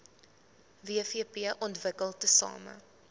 wvp ontwikkel tesame